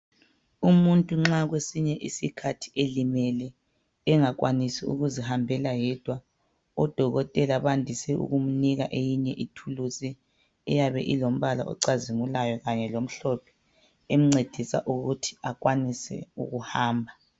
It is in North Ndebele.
Umuntu nxa kwesinye isikhathi elimele engakwanisi ukuzihambela yedwa odokotela bandise ukumnika eyinye ithulusi eyabe ilombala ocazimulayo kanye lomhlophe emncedisa ukuthi akwanise ukuhamba.